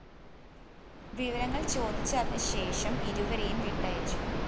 വിവരങ്ങള്‍ ചോദിച്ചറിഞ്ഞ ശേഷം ഇരുവരെയും വിട്ടയച്ചു